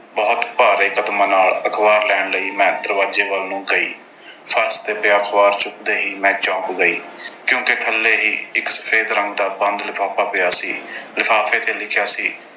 ਬਹੁਤ ਭਾਰੇ ਕਦਮਾਂ ਨਾਲ ਅਖਬਾਰ ਲੈਣ ਲਈ ਮੈਂ ਦਰਵਾਜ਼ੇ ਵੱਲ ਨੂੰ ਗਈ। ਫਰਸ਼ ਤੇ ਪਿਆ ਅਖਬਾਰ ਚੁੱਕਦੇ ਹੀ ਮੈਂ ਚੌਂਕ ਗਈ ਕਿਉਂਕਿ ਥੱਲੇ ਹੀ ਇੱਕ ਸਫੈਦ ਰੰਗ ਦਾ ਬੰਦ ਲਿਫ਼ਾਫ਼ਾ ਪਿਆ ਸੀ। ਲਿਫ਼ਾਫ਼ੇ ਤੇ ਲਿਖਿਆ ਸੀ।